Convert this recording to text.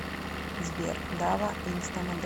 сбер дава инстамодель